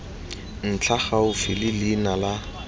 ntlha gaufi le leina la